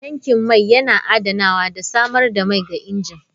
Tankin mai yana adanawa da samar da mai ga injin.